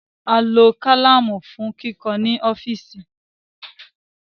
A lo kalamu fun kikọ ni ọfiisi